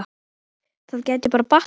Það gæti bara batnað!